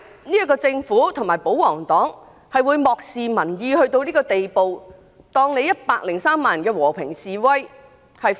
為甚麼政府和保皇黨會漠視民意到這個地步？視103萬人的和平示威如無物。